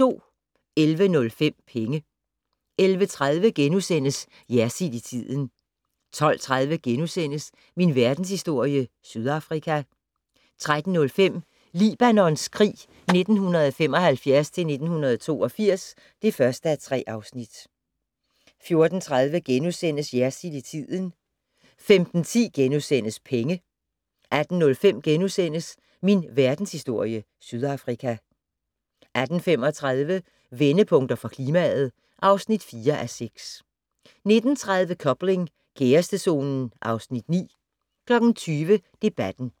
11:05: Penge 11:30: Jersild i tiden * 12:30: Min Verdenshistorie - Sydafrika * 13:05: Libanons krig 1975-1982 (1:3) 14:30: Jersild i tiden * 15:10: Penge * 18:05: Min Verdenshistorie - Sydafrika * 18:35: Vendepunkter for klimaet (4:6) 19:30: Coupling - kærestezonen (Afs. 9) 20:00: Debatten